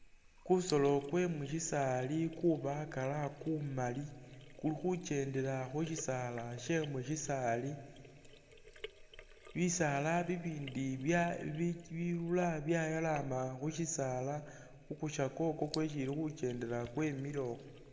Kusolo kwe mu sisaali kubakala kumali kuli khukendela khu sisaala sye mu sisaali bisaala bibindi bya bi.. bilula byayalama khu sisaala khu kusokya ukwo kwesi ili khukendela kwemile ukhwo.